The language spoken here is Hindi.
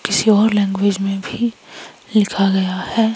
किसी और लैंग्वेज मे भी लिखा गया है।